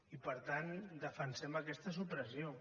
i per tant defensem aquesta supressió